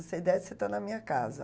Se você desce, está na minha casa.